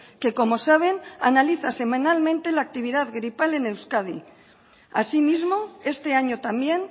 que como saben analiza semanalmente la actividad gripal en euskadi asimismo este año también